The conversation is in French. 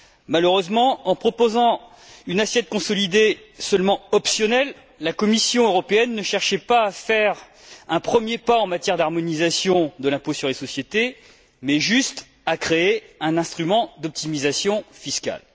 Malheureusement, en proposant une assiette consolidée qui soit seulement optionnelle, la Commission européenne ne cherchait pas à faire un premier pas en matière d'harmonisation de l'impôt sur les sociétés, mais juste à créer un instrument d'optimisation fiscale.